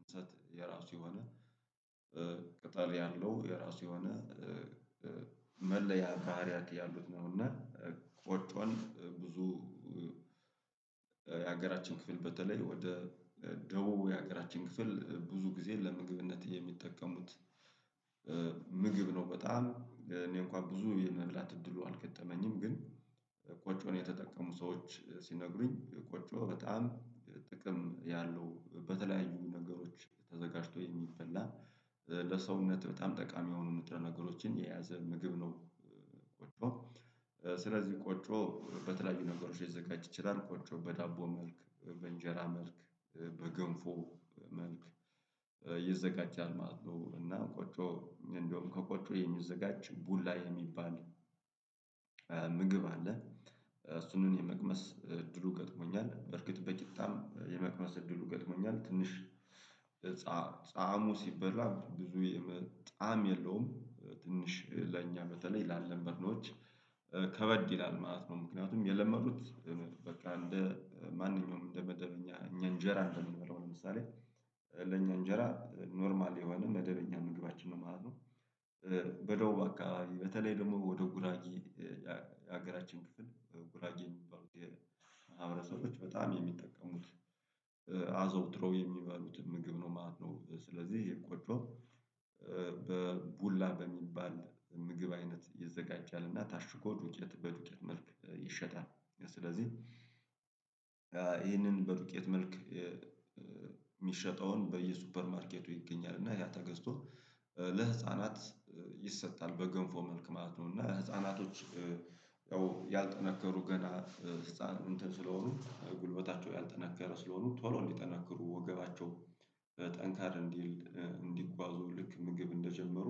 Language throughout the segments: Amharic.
እንሰጥ የራሱ የሆነ ያለው የራሱ የሆነ መለያ ካህሪያት ያሉት ነው እና ቆጮን ብዙ የሀገራችን ክፍል በተለይ ወደ ደቡብ የሀገራችን ክፍል ብዙ ጊዜ ለምግብነት የሚጠቀሙት ምግብ ነው። በጣም እኔ እንኳን ብዙ የመላት እድሉ አልገጠመኝም ግን ቆጮን የተጠቀሙ ሰዎች ሲነግሩኝ ቆጮ በጣም ጥቅም ያለው በተለያዩ ነገሮች ተዘጋጅቶ የሚበላ ለሰውነት በጣም ጠቃሚ የሆኑ ንጥረ ነገሮችን የያዘ ምግብ ነው። ቆጮ ስለዚህ ቆጮ በተለያዩ ነገሮች ሊዘጋጅ ይችላል ቆጮ በዳቦ መልክ በእንጀራ መልክ በገንፎ መልክ ይዘጋጃል ማለት ነው። እና ቆጮ እንደውም ከቆጮ የሚዘጋጅ ቡላ የሚባል ምግብ አለ። እሱንም የመቅመስ እድሉ ገጥሞኛል በርግጥ በቂጣም የመቅመስ እድሉ ገጥሞኛል ትንሽ ጻዕሙ ሲበላ ብዙ ጣዕም የለውም ትንሽ ለእኛ በተለይ ላለመድነዎች ከበድ ይላል ማለት ነው። ምክንያቱም የለመዱት በቃ እንደ ማንኛውም እንደ መደበኛ እኛ እንጀራ እንደምንለው ለምሳሌ ለኛ እንጀራ ኖርማል የሆነ መደበኛ ምግባችን ማለት ነው። በደቡብ አካባቢ በተለይ ደግሞ ወደ ጉራጌ የሀገራችን ክፍል ጉራጌ የሚባሉ ማህብረሰቦች በጣም የሚጠቀሙት አዘውትረው የሚበሉት ምግብ ነው ማለት ነው። ስለዚህ ይሄ ቆጮ በቡላ በሚባል ምግብ አይነት ይዘጋጃልና ታሽጎ ዱቄት በዱቄት መልክ ይሸጣል ስለዚህ ይህንን በዱቄት መልክ ሚሸጠውን በየሱፐር ማርኬቱ ይገኛል እና ያ ተገዝቶ ለህፃናት ይሰጣል በገንፎ መልክ ማለት ነው። እና ህፃናቶች ያንጠነከሩ ገና ህፃን እንትን ስለሆኑ ጉልበታቸው ያልጠነከረ ስለሆኑ ቶሎ እንዲጠነከሩ ወገባቸው ጠንከር እንዲል እንዲጓዙ ልክ ምግብ እንደጀመሩ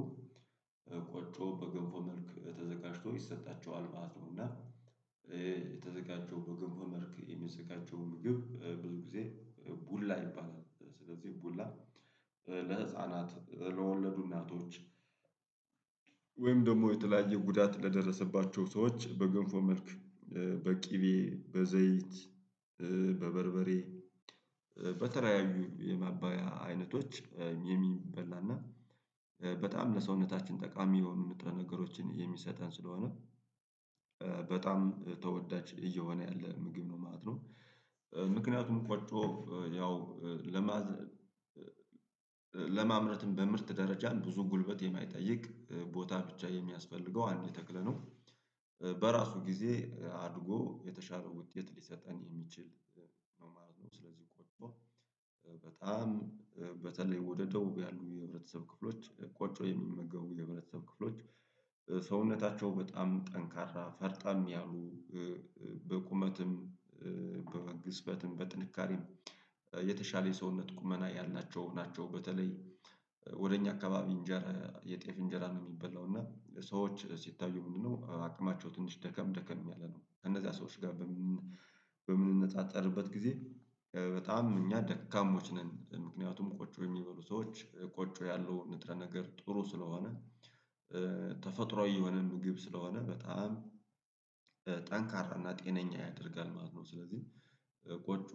ቆጮ በገንፎ መልክ ተዘጋጅቶ ይሰጣቸዋል ማለት ነው። እና የተዘጋጀው በገንፎ መልክ የሚዘጋጀው ምግብ ብዙ ጊዜ ቡላ ይባላል ስለዚህ ቡላ ለህፃናት ለወለዱ እናቶች ወይም ደግሞ የተለያየ ጉዳት ለደረሰባቸው ሰዎች በገንፎ መልክ በቅቤ በዘይት በበርበሬ በተለያዩ የማባያ አይነቶች የሚበላና በጣም ለሰውነታችን ጠቃሚ የሆኑ ንጥረ ነገሮችን የሚሰጠን ስለሆነ በጣም ተወዳጅ እየሆነ ያለ ምግብ ነው ማለት ነው። ምክንያቱም ቆጮ ያው ለማዘር ለማምረትም በምርት ደረጃም ብዙ ጉልበት የማይጠይቅ ቦታ ብቻ የሚያስፈልገው አንድ ተክል ነው። በራሱ ጊዜ አድጎ የተሻረው ውጤት ሊሰጠን የሚችል መማር ነው ስለዚህ ቆጮ በጣም በተለይ ወደ ደቡብ ያሉ የህብረተሰብ ክፍሎች ቆጮ የሚመገቡ የህብረተሰብ ክፍሎች ሰውነታቸው በጣም ጠንካራ ፈርጠም ያሉ በቁመትም በግዝፈትም በጥንካሬም የተሻለ የሰውነት ቁመና ያልናቸው ናቸው። በተለይ ወደ እኛ አካባቢ እንጀራ የጤፍ እንጀራ ነው ሚበላው እና ሰዎች ሲታዩ ምንድነው አቅማቸው ትንሽ ደከም ደከም ያለ ነው ከነዛ ሰዎች ጋር በምንነጻጸርበት ጊዜ በጣም እኛ ደካሞች ነን ምክንያቱም ቆጮ የሚበሉ ሰዎች ቆጮ ያለው ንጥረ ነገር ጥሩ ስለሆነ ተፈጥሮአዊ የሆነ ምግብ ስለሆነ በጣም ጠንካራና ጤነኛ ያደርጋል ማለት ነው። ስለዚህ ቆጮ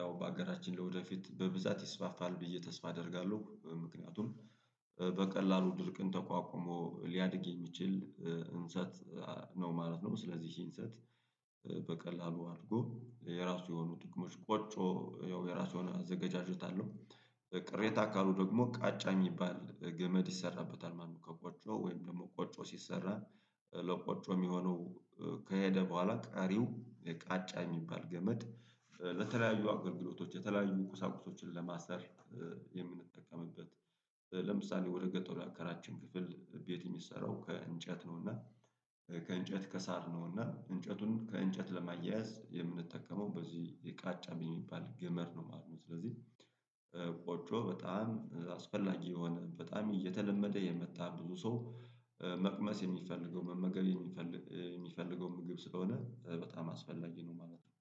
ያው በአገራችን ላይ ለወደፊት በብዛት ይስፋፋል ብዬ ተስፋ አደርጋለሁ ምክንያቱም በቀላሉ ድርቅን ተቋቁሞ ሊያድግ የሚችል እንሰት ነው ማለት ነው። ስለዚህ እንሰት በቀላሉ አድጎ የራሱ የሆኑ ጥቅሞች ቆጮ ያው የራሱ የሆኑ አዘጋጃጀት አለው ቅሬታ አካሉ ደግሞ ቃጫ የሚባል ገመድ ይሰራበታል ማለት ነው። ከቆጮ ወይም ደግሞ ቆጮ ሲሰራ ለቆጮ የሚሆነው ከሄደ በኋላ ቀሪው የቃጫ የሚባል ገመድ ለተለያዩ አገልግሎቶች የተለያዩ ቁሳቁሶችን ለማሰር የምንጠቀምበት ለምሳሌ ወደ ገጠሩ ያከራችን ክፍል ቤት ሚሰራው ከእንጨት ነውና ከእንጨት ከሳር ነውና እንጨቱን ከእንጨት ለማያያዝ የምንጠቀመው በዚህ የቃጫ በሚባል ገመድ ነው። አሁን ስለዚህ ቆጮ በጣም አስፈላጊ የሆነ በጣም እየተለመደ የመጣ ብዙ ሰው መቅመስ የሚፈልገው መመገብ የሚፈልግ የሚፈልገው ምግብ ስለሆነ በጣም አስፈላጊ ነው ማለት ነው